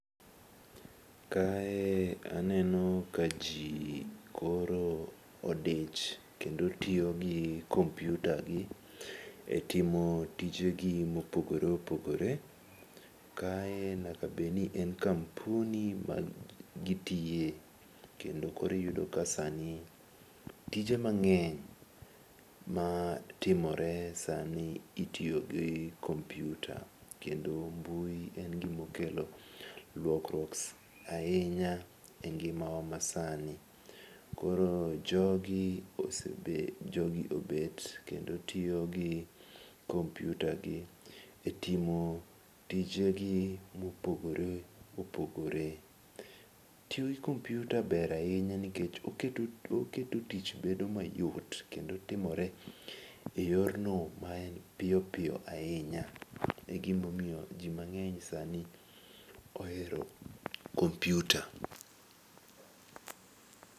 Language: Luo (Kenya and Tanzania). Kae aneno ka ji koro odich kendo tiyo gi kompyutagi e timo tijegi mopogore opogore, kae nyaka bedni en kampuni magitiye kendo koro iyudo ka sani tije mang'eny matimore sani itiyo gi kompyuta kendo mbui en gimokelo lokruok ahinya e ngimawa masani. Koro jogi obet, kendo tiyo gi kompyutagi e timo tijegi mopogore opogore. Tiyo gi kompyuta ber ahinya nikech oketo tich bedo myot kendo timore eyor no ma en piyo piyo ahinya. E gimomiyo ji mang'eny sani ohero kompyuta.